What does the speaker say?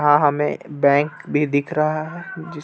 हां हमें बैंक भी दिख रहा है जिस--